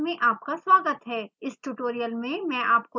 इस tutorial में मैं आपको दिखाउंगी